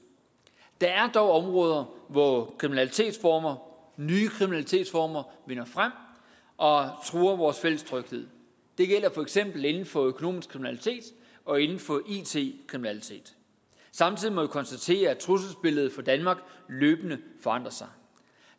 der er dog områder hvor kriminalitetsformer vinder frem og truer vores fælles tryghed det gælder for eksempel inden for økonomisk kriminalitet og inden for it kriminalitet samtidig må vi konstatere at trusselsbilledet for danmark løbende forandrer sig